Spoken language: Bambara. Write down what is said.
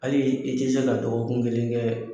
Hali i tɛ se ka dɔgɔkun kelen kɛ